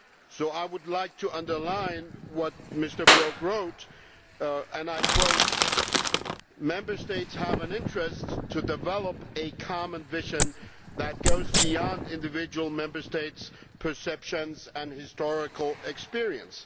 So I would like to underline what Mr Brok wrote Member States have an interest to develop a common vision that goes beyond individual Member States' perceptions and historical experience'.